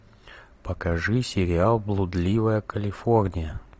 покажи сериал блудливая калифорния